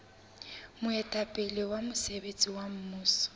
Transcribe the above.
moetapele wa mosebetsi wa mmuso